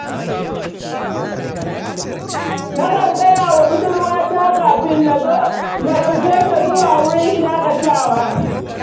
Nakan gaya wa budurwata kafin na zo, na ɗauke ta zuwa wurin shaƙatawa.